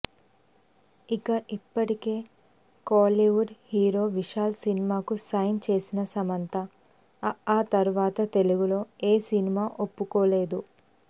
ఇక ఇప్పటికే Kollywood hero Vishal సినిమాకు సైన్ చేసిన సమంత అఆ తర్వాత తెలుగులో ఏ సినిమా ఒప్పుకోలేదు